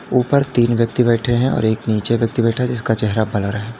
ऊपर तीन व्यक्ति बैठे हैं और एक नीचे व्यक्ति बैठा है उसका चेहरा ब्लर है।